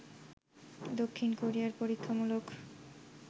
দক্ষিণ কোরিয়ায় পরীক্ষামূলক